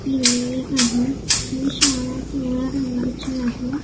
लिहिलेले आहे ही शाळा पिवळ्या रंगाची आहे.